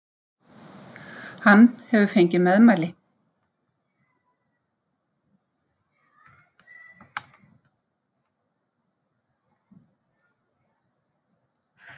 Hann hefur fengið meðmæli!